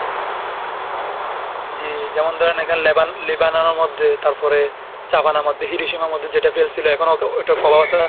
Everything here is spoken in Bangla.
জি যেমন ধরেন এখান লেবান, লেবাননের মধ্যে, তারপরে জাপানের মধ্যে হিরোশিমার মধ্যে মধ্যে যেটা ফেলছিল এখনো তো ওইটা ওটার ফলও আছে।